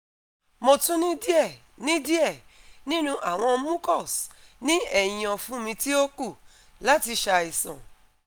Mo tun ni die ni die ninu awon mucus ni ehin ofun mi ti o ku lati saisan